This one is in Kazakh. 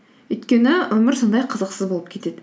өйткені өмір сондай қызықсыз болып кетеді